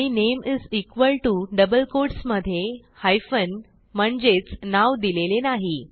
आणि नामे is equal to double quotes मधे हायपेन म्हणजेच नाव दिलेले नाही